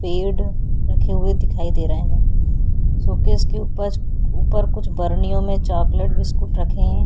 पेड़ रखे हुए दिखाई दे रहे हैं शोकेस के ऊपर ऊपर कुछ बरनियो चॉकलेट बिस्कुट रखे हैं।